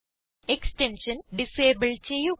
extension disable ചെയ്യുക